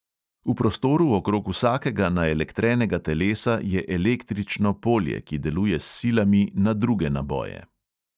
V prostoru okrog vsakega naelektrenega telesa je električno polje, ki deluje s silami na druge naboje.